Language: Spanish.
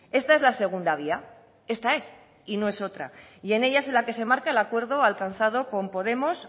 esta es la segunda vía esta es y no es otra y en ella es en la que se marca el acuerdo alcanzado con podemos